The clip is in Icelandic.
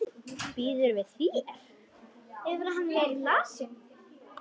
Býður við þér.